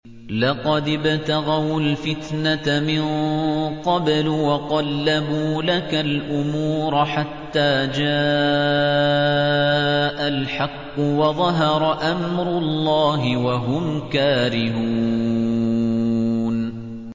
لَقَدِ ابْتَغَوُا الْفِتْنَةَ مِن قَبْلُ وَقَلَّبُوا لَكَ الْأُمُورَ حَتَّىٰ جَاءَ الْحَقُّ وَظَهَرَ أَمْرُ اللَّهِ وَهُمْ كَارِهُونَ